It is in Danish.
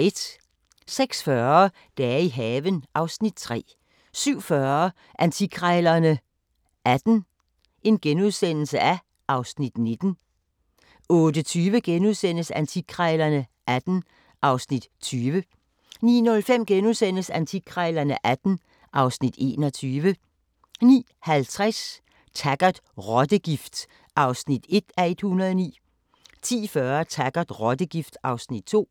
06:40: Dage i haven (Afs. 3) 07:40: Antikkrejlerne XVIII (Afs. 19)* 08:20: Antikkrejlerne XVIII (Afs. 20)* 09:05: Antikkrejlerne XVIII (Afs. 21)* 09:50: Taggart: Rottegift (1:109) 10:40: Taggart: Rottegift (2:109)